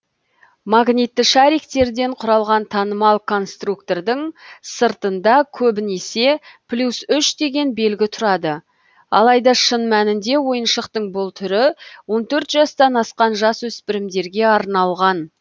магнитті шариктерден құралған танымал конструктордың сыртында көбінесе плюс үш деген белгі тұрады алайда шын мәнінде ойыншықтың бұл түрі он төрт жастан асқан жасөспірімдерге арналған